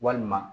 Walima